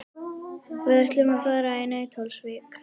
Við ætlum að fara í Nauthólsvík.